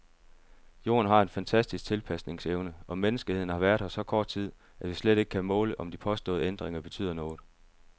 Jorden har en fantastisk tilpasningsevne, og menneskeheden har været her så kort tid, at vi slet ikke kan måle, om de påståede ændringer betyder noget.